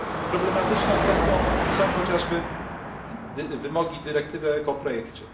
Problematyczną kwestią są chociażby wymogi dyrektywy o ekoprojekcie